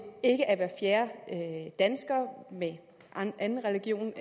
ikke er hver fjerde dansker med en anden religiøs